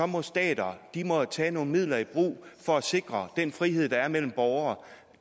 må stater tage nogle midler i brug for at sikre den frihed der er mellem borgere